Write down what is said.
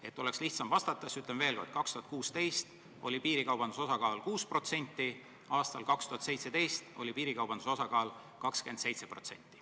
Ei oleks lihtsam vastata, siis ütlen veel kord: 2016. aastal oli piirikaubanduse osakaal 6%, aastal 2017 oli piirikaubanduse osakaal 27%.